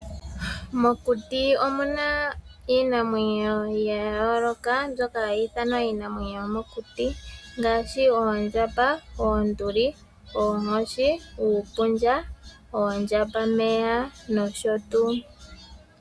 Mokuti omuna iinamwenyo ya yooloka, mbyoka hayi ithanwa iinamwenyo yomokuti, ngaashi oondjamba, oonduli, oonkoshi, uupundja, oondjambameya, nosho tuu.